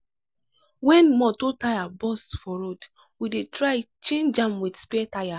wen motor tyre burst for road we dey try change am wit spare tyre.